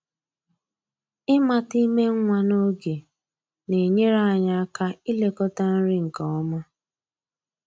Ịmata ime nwa n'oge na-enyere anyị aka ilekọta nri nke ọma.